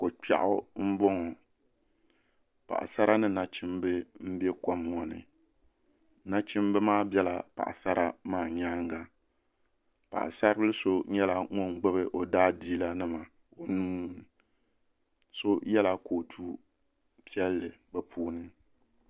Ko kpɛɣu n bɔŋɔ paɣisara ni nachimba mbɛ kom ŋɔ ni nachimba maa bɛla paɣasara maa yɛanga paɣisaribila so nyɛla ŋuni gbubi o daa diila nima o nuu ni so yela kootu piɛlli bi puuni.